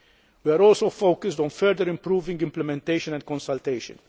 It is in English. We are also focused on further improving implementation and consultation.